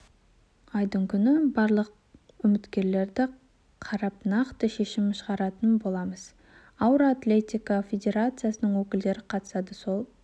айдың күні барлық үміткерлерді қарап нақты шешім шығаратын боламыз ауыр атлетика федерациясының өкілдері қатысады сол